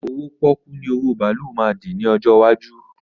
Owó pọ́ọ́kú ni owó bàálù máa dì ní ọjọ́ iwájú